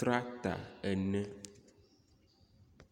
tractor ene.